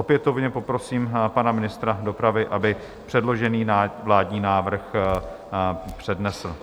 Opětovně poprosím pana ministra dopravy, aby předložený vládní návrh přednesl.